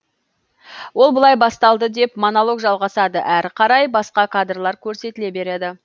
ол былай басталды деп монолог жалғасады әрі қарай басқа кадрлар көрсетіле береді